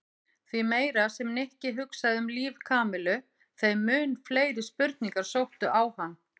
Því meira sem Nikki hugsaði um líf Kamillu þeim mun fleiri spurningar sóttu á hann.